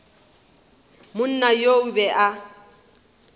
monna yo o be a